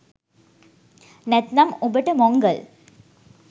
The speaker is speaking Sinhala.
නැත්නම් උඹට මොංගල්